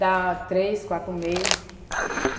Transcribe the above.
Dá três, quatro meses.